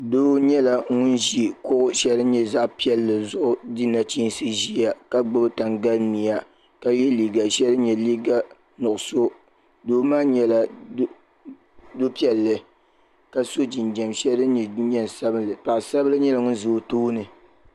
Doo nyɛla ʒi kuɣu sheli din nyɛ zaɣa piɛlli zuɣu di nachinsi ʒia ka gbibi tangalimia ka ye liiga sheli din nyɛ liiga nuɣuso doo maa nyɛla do'piɛlli la so jinjiɛm sheli din nyɛ jinjiɛm sabinli baɣasaribila nyɛla ŋun ʒɛ o tooni.